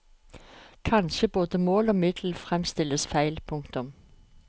Kanskje både mål og middel fremstilles feil. punktum